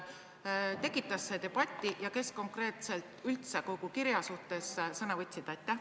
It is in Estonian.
Tekitas see debatti ja kes konkreetselt üldse kogu kirja suhtes sõna võtsid?